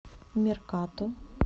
меркато